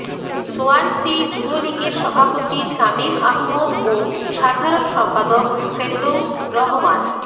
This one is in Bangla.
সোয়ানসী যুবলীগের সভাপতি শামীম আহমদ ও সাধারন সম্পাদক ফেরদৌস রহমান